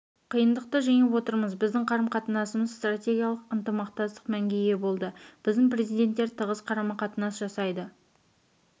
қиындықты жеңіп отырмыз біздің қарым-қатынасымыз стратегиялық ынтымақтастық мәнге ие болды біздің президенттер тығыз қарым-қатынас жасайды